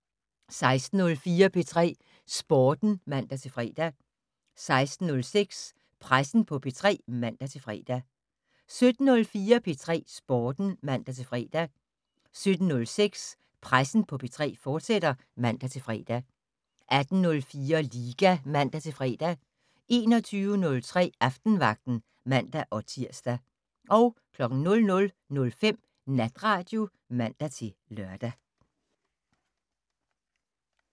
16:04: P3 Sporten (man-fre) 16:06: Pressen på P3 (man-fre) 17:04: P3 Sporten (man-fre) 17:06: Pressen på P3, fortsat (man-fre) 18:04: Liga (man-fre) 21:03: Aftenvagten (man-tir) 00:05: Natradio (man-lør)